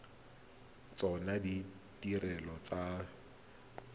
tsona ditirelo tsa dithibedi tse